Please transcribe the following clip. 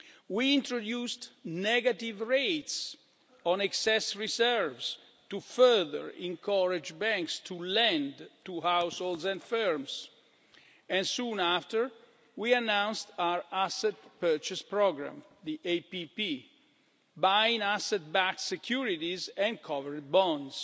We introduced negative rates on excess reserves to further encourage banks to lend to households and firms and, soon after, we announced our asset purchase programme buying asset-backed securities and covered bonds.